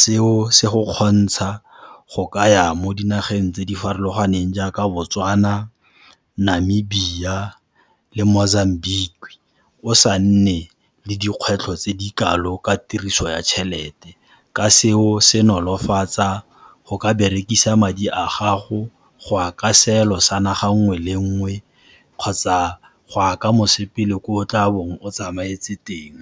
Seo se go kgontsha go ka ya mo dinageng tse di farologaneng jaaka Botswana, Namibia le Mozambique o sa nne le dikgwetlho tse di kalo ka tiriso ya tjhelete, ka seo se nolofatsa go ka berekisa madi a gago go ya ka seelo sa naga nngwe le nngwe kgotsa go ya ka mosepele kwa o tla bo o tsamaetse teng.